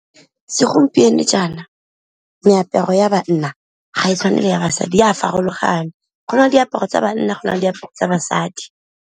Segompieno jaana meaparo ya banna ga e tshwane le ya basadi, e a farologane go na le diaparo tsa banna go na le diaparo tsa basadi.